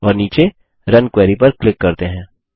और नीचे run query पर क्लीक करते हैं